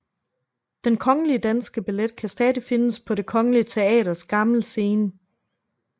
Den Kongelige Danske Ballet kan stadig findes på Det Kongelige Teaters gamle scene